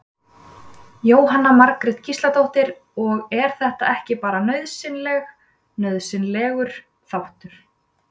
Jóhanna Margrét Gísladóttir: Og er þetta ekki bara nauðsynleg, nauðsynlegur þáttur?